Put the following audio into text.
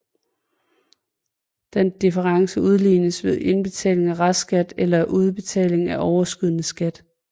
Denne difference udlignes ved indbetaling af restskat eller udbetaling af overskydende skat